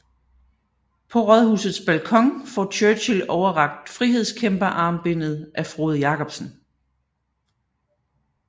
På Rådhusets balkon får Churchill overrakt frihedskæmperarmbindet af Frode Jakobsen